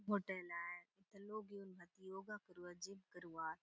होटल आय एथा लोग एउन भांति योगा करुआत जिम करूआत ।